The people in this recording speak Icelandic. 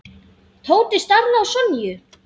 Tóti starði á Sonju.